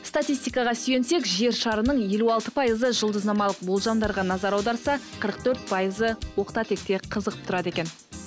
статистикаға сүйенсек жер шарының елу алты пайызы жұлдызнамалық болжамдарға назар аударса қырық төрт пайызы оқта текте қызығып тұрады екен